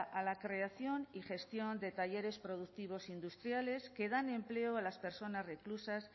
a la creación y gestión de talleres productivos industriales que dan empleo a las personas reclusas